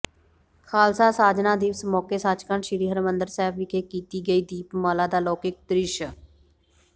ਖ਼ਾਲਸਾ ਸਾਜਣਾ ਦਿਵਸ ਮੌਕੇ ਸੱਚਖੰਡ ਸ੍ਰੀ ਹਰਿਮੰਦਰ ਸਾਹਿਬ ਵਿਖੇ ਕੀਤੀ ਗਈ ਦੀਪਮਾਲਾ ਦਾ ਅਲੌਕਿਕ ਦ੍ਰਿਸ਼